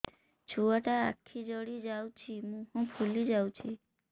ଛୁଆଟା ଆଖି ଜଡ଼ି ଯାଉଛି ମୁହଁ ଫୁଲି ଯାଉଛି